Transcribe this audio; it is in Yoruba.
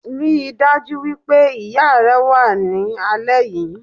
Ríi dájú wípé ìya rẹ wá ní alẹ́ yìí